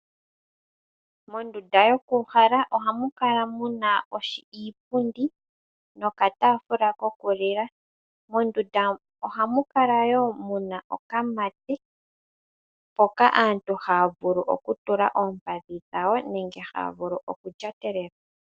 Mondunda yokuuhala ohamu kala mu na iipundi nokataafula kokulila. Mondunda ohamu kala wo mu na okamate mpoka aantu haa vulu okutula oompadhi dhawo nenge haa vulu okulyatelela.